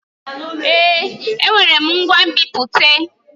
Èé! Enwere m ngwa nbipute.